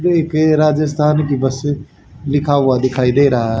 ये एक राजस्थान की बस लिखा हुआ दिखाई दे रहा--